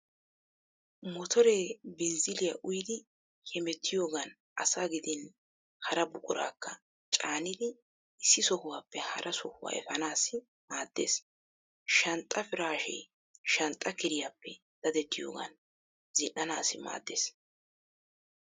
Motore binzzilliya uyidi hemettiyogan asaa gidin hara buquraakka caanidi issi sohuwaappe hara sohuwaa efaanaassi maaddeees. Shanxxaa piraashshee shanxxa kiriyappe dadettiyogan zin"anaassi maaddeees.